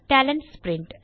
நன்றி